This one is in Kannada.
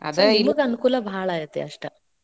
ಅನುಕೂಲ ಭಾಳ್ ಐತಿ ಅಷ್ಟ.